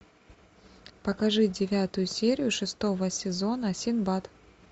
покажи девятую серию шестого сезона синдбад